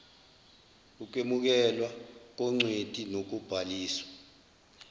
ukwemukelwa kongcweti nokubhaliswa